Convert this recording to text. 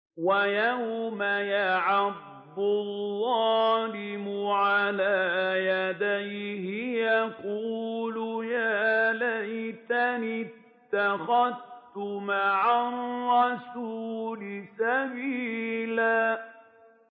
وَيَوْمَ يَعَضُّ الظَّالِمُ عَلَىٰ يَدَيْهِ يَقُولُ يَا لَيْتَنِي اتَّخَذْتُ مَعَ الرَّسُولِ سَبِيلًا